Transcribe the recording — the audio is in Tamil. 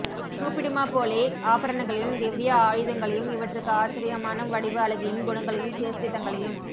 கூப்பிடுமா போலே ஆபரணங்களையும் திவ்ய ஆயுதங்களையும் இவற்றுக்கு ஆச்ரயமான வடிவு அழகையும் குணங்களையும் சேஷ்டிதங்களையும்